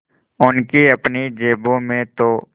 उनकी अपनी जेबों में तो